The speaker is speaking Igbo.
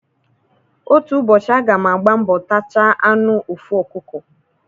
Otu ụbọchị a ga m agba mbọ tachaa anụ ofu ọkụkọ.